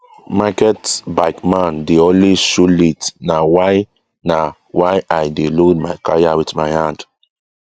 market bike man dey always show late na why na why i dey load my kaya with my hand